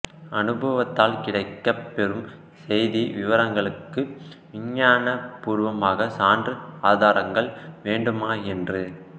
அனுபவத்தால் கிடைக்கப் பெறும் செய்தி விவரங்களுக்கு விஞ்ஞான பூர்வமாக சான்று ஆதாரங்கள் வேண்டுமா என்று